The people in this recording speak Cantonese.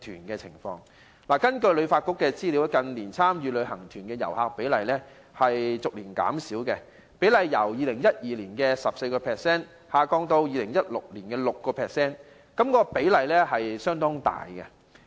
根據旅發局的資料，近年參加旅行團的旅客比例逐年減少，由2012年的 14% 下降至2016年的 6%， 幅度相當大。